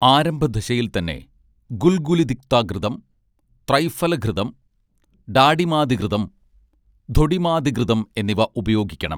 ആരംഭ ദശയിൽ തന്നെ ഗുൽഗുലുതിക്തഘൃതം ത്രൈഫലഘൃതം ഡാഡിമാദിഘൃതം ധൊഡിമാദിഘൃതം എന്നിവ ഉപയോഗിക്കണം